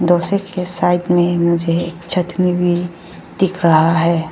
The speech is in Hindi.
उसी के साइड में मुझे एक चटनी भी दिख रहा है।